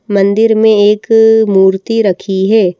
मंदिर में एक मूर्ति रखी है।